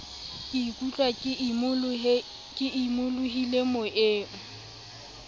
ke ikutlwa ke imolohile moyeng